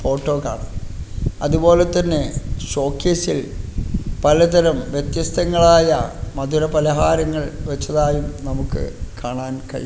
Auto car അതുപോലെ തന്നെ ഷോക്കേസിൽ പലതരം വ്യത്യസ്തങ്ങളായ മധുരപലഹാരങ്ങൾ വെച്ചതായി നമുക്ക് കാണാൻ കഴിയും.